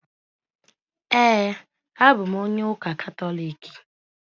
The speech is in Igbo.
Ee, abụ m onye ụka Katọliki.